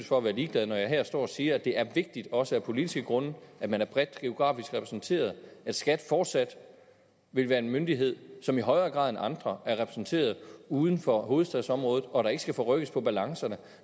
for at være ligeglad når jeg står her og siger at det er vigtigt også af politiske grunde at man er bredt geografisk repræsenteret at skat fortsat vil være en myndighed som i højere grad end andre er repræsenteret uden for hovedstadsområdet og at der ikke skal rykkes på balancen